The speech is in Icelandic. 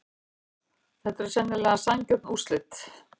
Þetta eru sennilega sanngjörn úrslit.